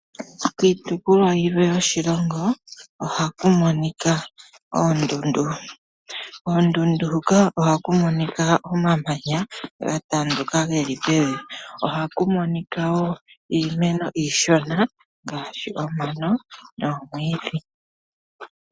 Iitopolwa yilwe yoshilongo oha ku monika oondundu koondundu huka oha ku monika omamanya ga tanduka ge li pevi oha ku monika wo iimeno iishona ngaashi omano nomwiidhi.